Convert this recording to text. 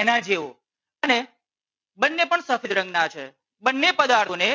એના જેવુ અને બંને પણ સફેદ રંગ ના છે. બંને પદાર્થો ને